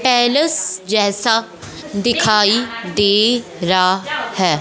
Palace जैसा दिखाई दे रा है।